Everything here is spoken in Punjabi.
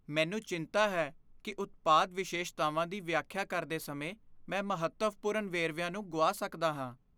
ਮੈਨੂੰ ਚਿੰਤਾ ਹੈ ਕਿ ਉਤਪਾਦ ਵਿਸ਼ੇਸ਼ਤਾਵਾਂ ਦੀ ਵਿਆਖਿਆ ਕਰਦੇ ਸਮੇਂ ਮੈਂ ਮਹੱਤਵਪੂਰਨ ਵੇਰਵਿਆਂ ਨੂੰ ਗੁਆ ਸਕਦਾ ਹਾਂ।